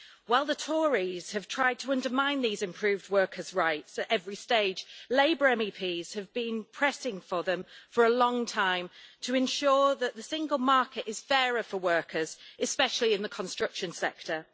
While the Tories have tried to undermine these improved workers' rights at every stage, Labour MEPs have been pressing for them for a long time to ensure that the single market is fairer for workers, especially in the construction sector.